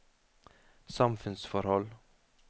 samfunnsforhold